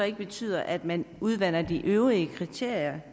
ikke betyder at man udvander de øvrige kriterier